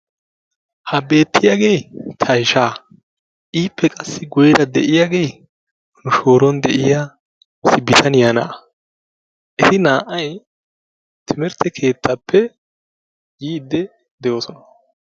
Ha beetiyagee tayshshaa, ippe qassi guyeera de'iyage nu shooro de'iya bitaniya na'aa eti naa'ay timmirte keetaappe yiididi de'oosona.